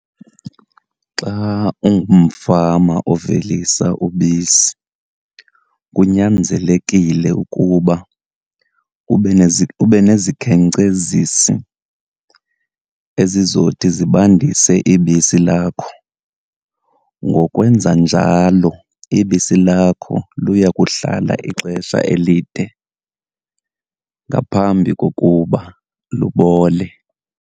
Xa ungumfama ovelisa ubisi kunyanzelekile ukuba ube , ube nezikhenkcezisi ezizothi zibandise ibisi lakho. Ngokwenza njalo ibisi lakho luya kuhlala ixesha elide ngaphambi kokuba lubole.